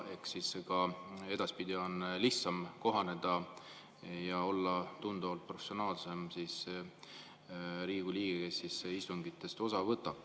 Ehk siis on lihtsam kohaneda ja olla edaspidi tunduvalt professionaalsem Riigikogu liige, kes istungitest osa võtab.